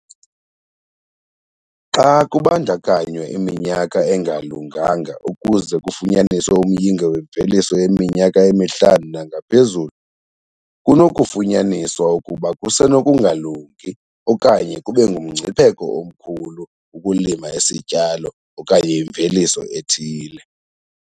Xa kubandakanywa iminyaka engalunganga ukuze kufunyaniswe umyinge wemveliso yeminyaka emihlanu nangaphezulu kunokufunyaniswa ukuba kusenokungalungi okanye kube ngumngcipheko omkhulu ukulima isityalo okanye imveliso ethile.